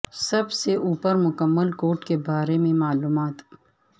سب سے اوپر مکمل کوٹ کے بارے میں معلومات